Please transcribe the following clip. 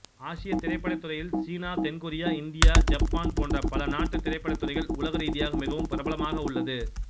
ஆசியத் திரைப்படத்துறையிகளில் சீனா தென் கொரியா இந்தியா யப்பான் போன்ற பல நாட்டுத் திரைப்படத்துறைகள் உலகரீதிக மிகவும் பிரபலமாக உள்ளது